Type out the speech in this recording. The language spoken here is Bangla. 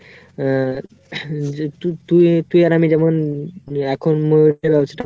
আহ যে তু~ তুই আর আমি যেমন এখন কাজটা;